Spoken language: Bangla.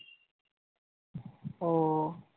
ওহ